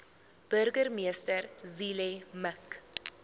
burgemeester zille mik